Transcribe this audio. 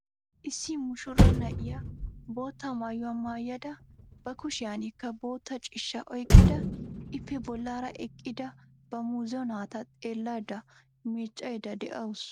Issi muushura na'iya bootta maayuwa maayada ba kushiyankka boottaa ciishshaa oyqqada ippe bollaara eqqida ba muuzo naata xeellada miiccayda de'awusu.